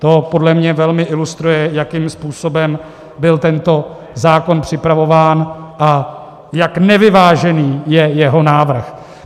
To podle mě velmi ilustruje, jakým způsobem byl tento zákon připravován a jak nevyvážený je jeho návrh.